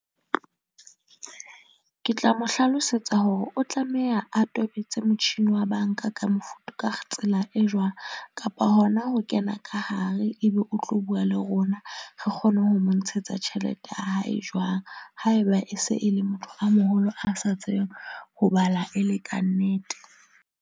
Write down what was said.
Ke tla mo hlalosetsa hore o tlameha a tobetse motjhini wa banka ka mofuta ka tsela e jwang kapa hona ho kena ka hare, ebe o ng tlo bua le rona re kgone ho mo ntshetsa tjhelete ya hae jwang haeba e se e le motho a moholo a sa tsebeng ho bala e le kannete.